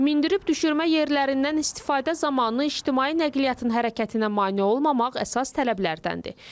Mindirib düşürmə yerlərindən istifadə zamanı ictimai nəqliyyatın hərəkətinə mane olmamaq əsas tələblərdəndir.